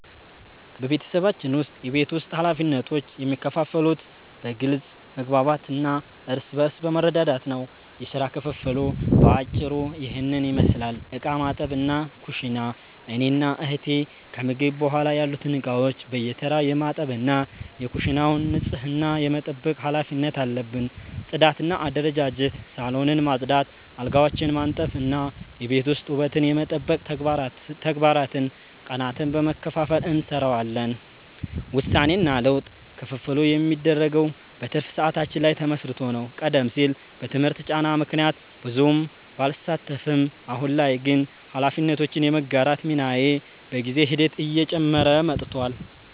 በቤተሰባችን ውስጥ የቤት ውስጥ ኃላፊነቶች የሚከፋፈሉት በግልጽ መግባባት እና እርስ በርስ በመረዳዳት ነው። የሥራ ክፍፍሉ በአጭሩ ይህንን ይመስላል፦ ዕቃ ማጠብና ኩሽና፦ እኔና እህቴ ከምግብ በኋላ ያሉትን ዕቃዎች በየተራ የማጠብ እና የኩሽናውን ንጽህና የመጠበቅ ኃላፊነት አለብን። ጽዳትና አደረጃጀት፦ ሳሎንን ማጽዳት፣ አልጋዎችን ማንጠፍ እና የቤት ውስጥ ውበትን የመጠበቅ ተግባራትን ቀናትን በመከፋፈል እንሰራዋለን። ውሳኔና ለውጥ፦ ክፍፍሉ የሚደረገው በትርፍ ሰዓታችን ላይ ተመስርቶ ነው። ቀደም ሲል በትምህርት ጫና ምክንያት ብዙም ባልሳተፍም፣ አሁን ላይ ግን ኃላፊነቶችን የመጋራት ሚናዬ በጊዜ ሂደት እየጨመረ መጥቷል።